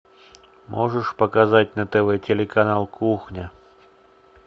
можешь показать на тв телеканал кухня